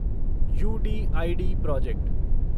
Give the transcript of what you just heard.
UDID project